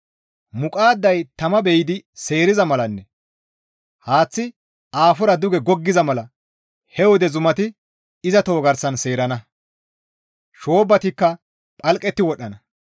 Muqaadday tama be7idi seeriza malanne haaththi aafora duge goggiza mala he wode zumati iza toho garsan seerana; shoobbatikka phalqetti wodhdhana.